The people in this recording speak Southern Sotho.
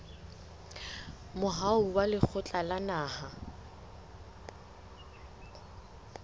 moaho wa lekgotla la naha